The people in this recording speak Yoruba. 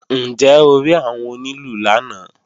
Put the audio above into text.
Ǹjẹ́ o rí àwọn onílù lánàá?